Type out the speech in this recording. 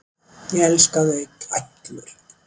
Ég elska þau í tætlur!